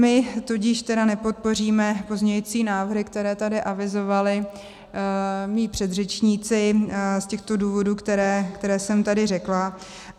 My tudíž tedy nepodpoříme pozměňující návrhy, které tady avizovali mí předřečníci, z těchto důvodů, které jsem tady řekla.